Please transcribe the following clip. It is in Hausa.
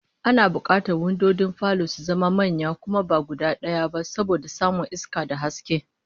Ana bukatar windojin falo su zama manya kuma ba guda daya ba, saboda samun iska da haske